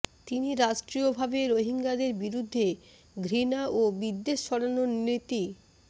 তিনি রাষ্ট্রীয়ভাবে রোহিঙ্গাদের বিরুদ্ধে ঘৃণা ও বিদ্বেষ ছড়ানোর নীতি